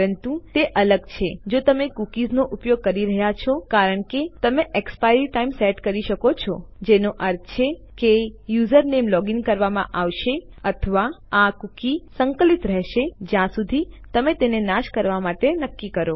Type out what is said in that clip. પરંતુ તે અલગ છે જો તમે કૂકીઝનો ઉપયોગ કરી રહ્યા છો કારણ કે તમે એક્સપાયરી ટાઇમ સેટ કરી શકો છો જેનો અર્થ છે કે તમારું યુઝરનેમ લોગીન કરવામાં આવશે અથવા આ કૂકી સંકલિત રહેશે જ્યાં સુધી તમે તેને નાશ કરવા માટે નક્કી કરો